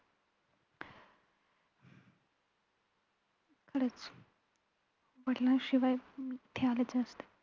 खरचं वडिलांशिवाय मी इथे आलेच नसते.